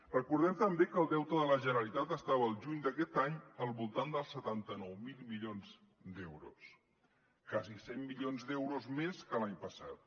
recordem també que el deute de la generalitat estava al juny d’aquest any al voltant dels setanta nou mil milions d’euros quasi cent milions d’euros més que l’any passat